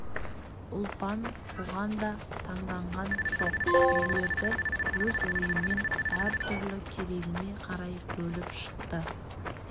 ұлпан бұған да таңданған жоқ үйлерді өз ойымен әр түрлі керегіне қарай бөліп шықты